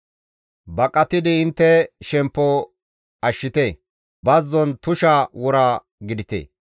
Baqatidi intte shemppo ashshite; bazzon tusha wora gidite.